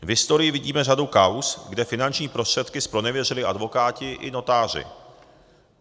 V historii vidíme řadu kauz, kde finanční prostředky zpronevěřili advokáti i notáři.